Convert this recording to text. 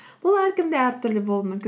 бұл әркімде әртүрлі болуы мүмкін